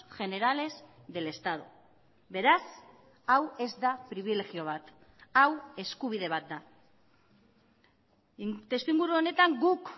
generales del estado beraz hau ez da pribilegio bat hau eskubide bat da testuinguru honetan guk